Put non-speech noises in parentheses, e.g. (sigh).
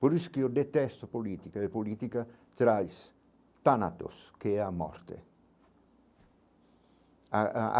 Por isso que eu detesto a política e a política traz tanatos, que é a morte. (unintelligible)